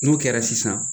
N'o kɛra sisan